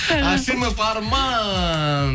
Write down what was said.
ашимов арман